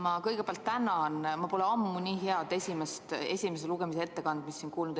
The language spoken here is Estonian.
Ma kõigepealt tänan: ma pole ammu nii head esimese lugemise ettekannet siin kuulnud.